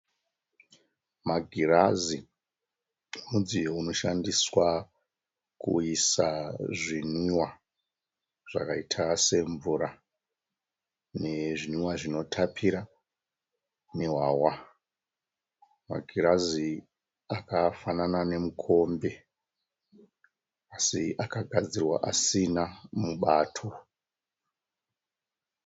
Magirazi mudziyo unoshandiswa kuisa zvinwiwa zvakaita semvura, nezvinwiwa zvinotapira nehwahwa. Magirazi akafanana nemukombe asi akagadzirwa asina mubato.